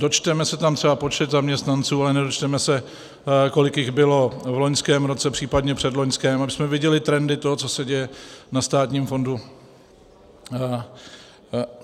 dočteme se tam třeba počet zaměstnanců, ale nedočteme se, kolik jich bylo v loňském roce, případně předloňském, abychom viděli trendy toho, co se děje na státním fondu.